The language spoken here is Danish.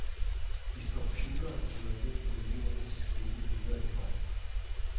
Hvis computeren bryder ned, må eleverne skrive videre i hånden.